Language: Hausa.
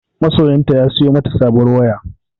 Masoyiyarta ya siyo mata sabon waya.